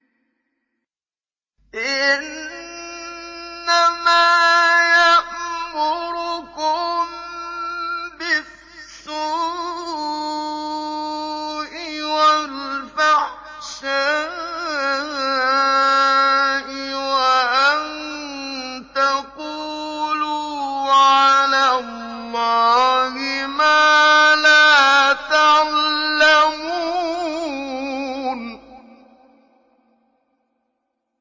إِنَّمَا يَأْمُرُكُم بِالسُّوءِ وَالْفَحْشَاءِ وَأَن تَقُولُوا عَلَى اللَّهِ مَا لَا تَعْلَمُونَ